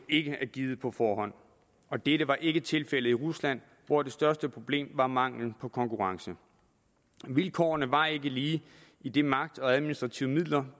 ikke er givet på forhånd og dette var ikke tilfældet i rusland hvor det største problem var mangel på konkurrence vilkårene var ikke lige idet magt og administrative midler